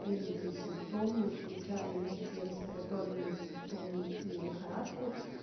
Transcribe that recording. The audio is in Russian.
признаки и симптомы включая мягкие респираторные симптомы и лихорадку